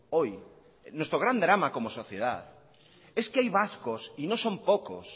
hoy nuestro gran drama como sociedad es que hay vascos y no son pocos